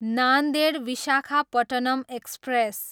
Nanded, Visakhapatnam express